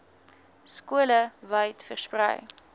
skole wyd versprei